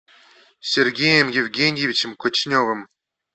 сергеем евгеньевичем кочневым